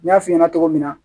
N y'a f'i ɲɛna cogo min na